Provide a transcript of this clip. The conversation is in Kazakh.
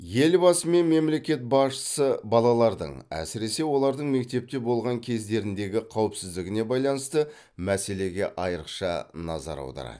елбасы мен мемлекет басшысы балалардың әсіресе олардың мектепте болған кездеріндегі қауіпсіздігіне байланысты мәселеге айрықша назар аударады